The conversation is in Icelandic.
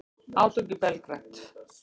Átök í Belgrad